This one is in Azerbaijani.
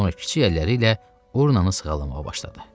Sonra kiçik əlləri ilə urnanı sığallamağa başladı.